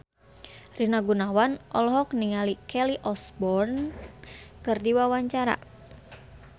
Rina Gunawan olohok ningali Kelly Osbourne keur diwawancara